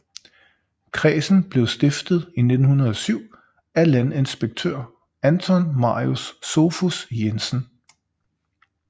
Kredsen blev stiftet i 1907 af landinspektør Anton Marius Sophus Jensen